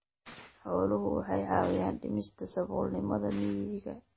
Xooluhu waxay caawiyaan dhimista saboolnimada miyiga.